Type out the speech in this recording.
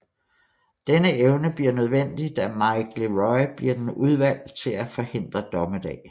Denne evne bliver nødvendig da Mike LeRoi bliver den udvalgt til at forhindre dommedag